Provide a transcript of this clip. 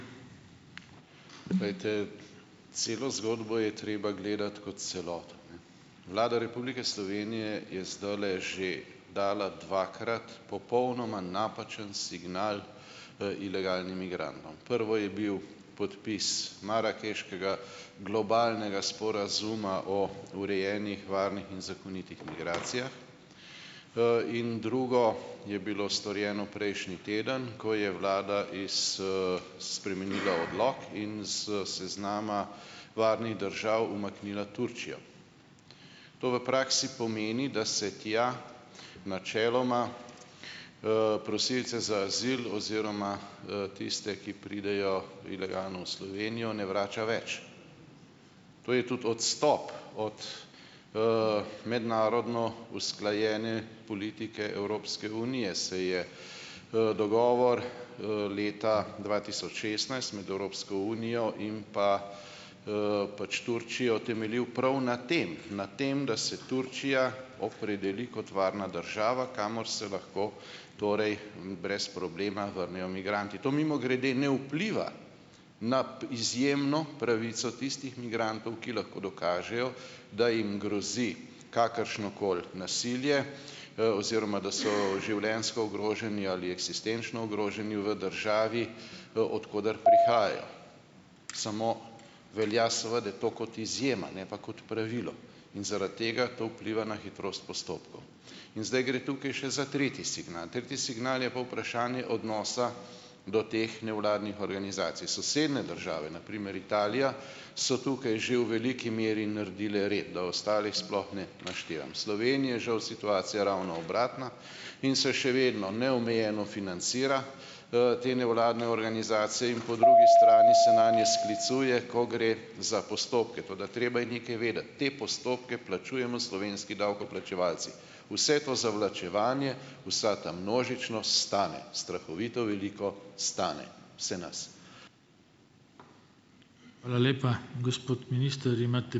Glejte, celo zgodbo je treba gledati kot celoto, ne. Vlada Republike Slovenije je zdajle že dala dvakrat popolnoma napačen signal, ilegalnim migrantom. Prvo je bil podpis marakeškega globalnega sporazuma o urejenih, varnih in zakonitih migracijah . in drugo je bilo storjeno prejšnji teden, ko je vlada iz, spremenila odlok in s seznama varnih držav umaknila Turčijo. To v praksi pomeni, da se tja načeloma, prosilce za azil oziroma, tiste, ki pridejo ilegalno v Slovenijo, ne vrača več. To je tudi odstop od, mednarodno usklajene politike Evropske unije, saj je, dogovor, leta dva tisoč šestnajst med Evropsko unijo in pa, pač Turčijo temeljil prav na tem, na tem, da se Turčija opredeli kot varna država, kamor se lahko torej brez problema vrnejo migranti. To mimogrede ne vpliva na izjemno pravico tistih migrantov, ki lahko dokažejo, da jim grozi kakršnokoli nasilje, oziroma, da so življenjsko ogroženi ali eksistenčno ogroženi v državi v, od koder prihajajo . Samo velja seveda to kot izjema, ne pa kot pravilo. In zaradi tega to vpliva na hitrost postopkov. In zdaj gre tukaj še za tretji signal. Tretji signal je pa vprašanje odnosa do teh nevladnih organizacij. Sosedne države, na primer Italija, so tukaj že v veliki meri naredile red, da ostalih sploh ne naštevam . Sloveniji je žal situacija ravno obratna in se še vedno neomejeno financira, te nevladne organizacije in pol drugi strani se nanje sklicuje , ko gre za postopke, tako da treba je nekaj vedeti. Te postopke plačujemo slovenski davkoplačevalci. Vse to zavlačevanje, vsa ta množičnost stane. Strahovito veliko stane. Vse nas.